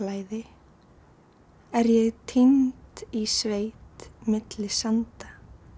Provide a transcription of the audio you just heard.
er ég týnd í sveit milli sanda